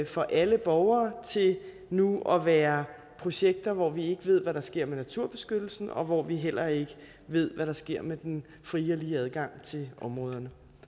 for alle borgere til nu at være projekter hvor vi ikke ved hvad der sker med naturbeskyttelsen og hvor vi heller ikke ved hvad der sker med den frie og lige adgang til områderne